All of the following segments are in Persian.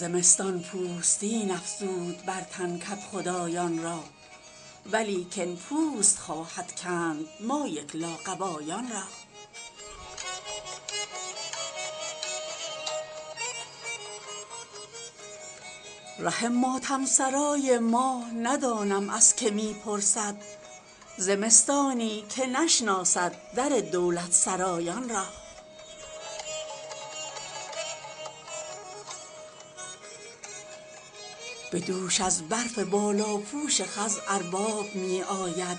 زمستان پوستین افزود بر تن کدخدایان را ولیکن پوست خواهد کند ما یک لاقبایان را ره ماتم سرای ما ندانم از که می پرسد زمستانی که نشناسد در دولت سرایان را به دوش از برف بالاپوش خز ارباب می آید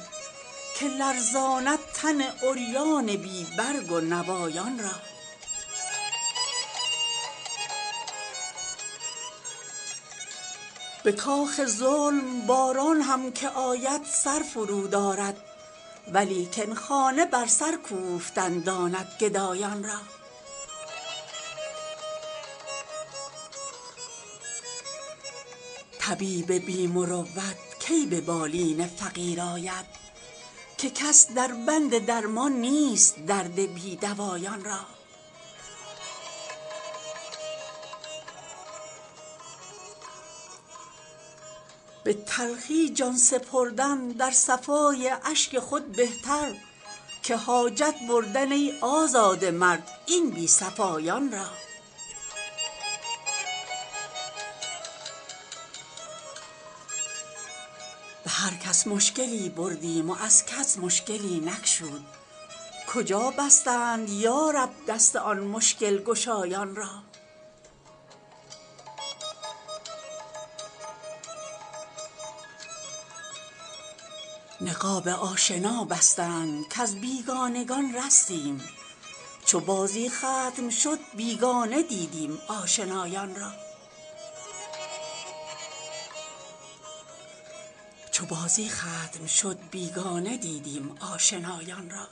که لرزاند تن عریان بی برگ و نوایان را به کاخ ظلم باران هم که آید سر فرود آرد ولیکن خانه بر سر کوفتن داند گدایان را طبیب بی مروت کی به بالین فقیر آید که کس در بند درمان نیست درد بی دوایان را به تلخی جان سپردن در صفای اشک خود بهتر که حاجت بردن ای آزاده مرد این بی صفایان را به هر کس مشکلی بردیم و از کس مشکلی نگشود کجا بستند یارب دست آن مشکل گشایان را نقاب آشنا بستند کز بیگانگان رستیم چو بازی ختم شد بیگانه دیدیم آشنایان را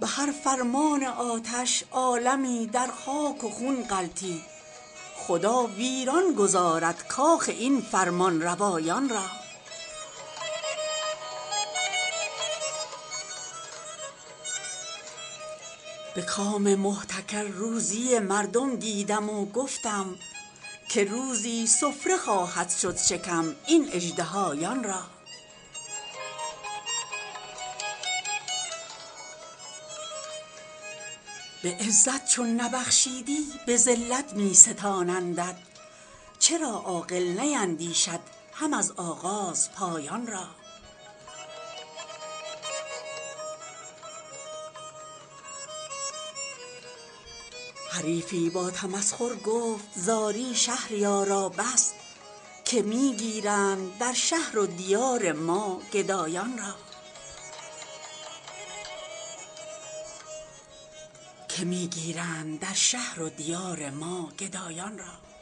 به هر فرمان آتش عالمی در خاک و خون غلتید خدا ویران گذارد کاخ این فرمانروایان را به کام محتکر روزی مردم دیدم و گفتم که روزی سفره خواهد شد شکم این اژدهایان را به عزت چون نبخشیدی به ذلت می ستانندت چرا عاقل نیندیشد هم از آغاز پایان را حریفی با تمسخر گفت زاری شهریارا بس که می گیرند در شهر و دیار ما گدایان را